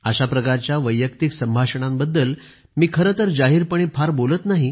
अशा प्रकारच्या वैयक्तिक संभाषणाबद्दल मी खरेतर जाहीरपणे फार बोलत नाही